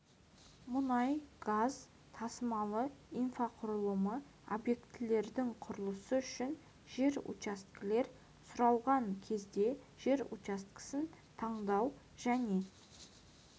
мұнай-газ тасымалы инфрақұрылымы объектілерінің құрылысы үшін жер учаскелер сұралған кезде жер учаскесін таңдау және